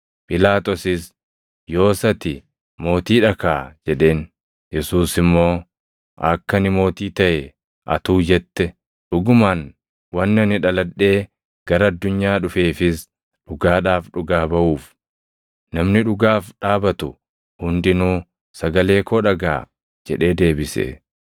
Phiilaaxoosis, “Yoos ati mootii dha kaa!” jedheen. Yesuus immoo, “Akka ani mootii taʼe atuu jette. Dhugumaan wanni ani dhaladhee gara addunyaa dhufeefis dhugaadhaaf dhugaa baʼuuf. Namni dhugaaf dhaabatu hundinuu sagalee koo dhagaʼa” jedhee deebise.